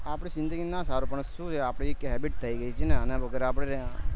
આપડે ના સારું પણ આપની એક habit થઇ ગયી છે આના વગર